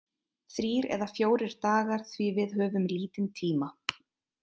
Þrír eða fjórir dagar því við höfum lítinn tíma.